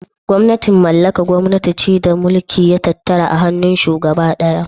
"Gwamnatin mallaka " gwamnati ce da mulki ya tattara a hannun shugaba daya.